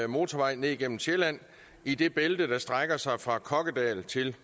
motorvej ned igennem sjælland i det bælte der strækker sig fra kokkedal til